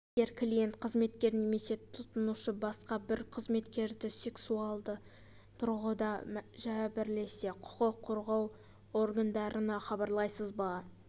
егер клиент қызметкер немесе тұтынушы басқа бір қызметкерді сексуалды тұрғыда жәбірлесе құқық қорғау органдарына хабарлайсыз ба